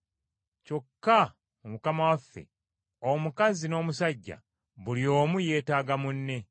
Kyokka mu Mukama waffe, omukazi n’omusajja, buli omu yeetaaga munne.